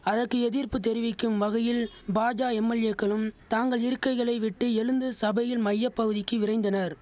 அதக்கு எதிர்ப்பு தெரிவிக்கும் வகையில் பாஜ எம்எல்ஏக்களும் தாங்கள் இருக்கைகளை விட்டு எழுந்து சபையின் மைய பகுதிக்கு விரைந்தனர்